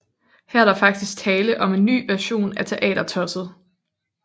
Her er der faktisk tale om en ny version af Teatertosset